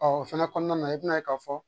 Ɔ o fɛnɛ kɔnɔna na i bɛn'a ye k'a fɔ